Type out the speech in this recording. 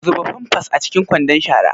Zuba pampers a cikin kwandon shara.